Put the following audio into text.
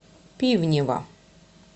пивнева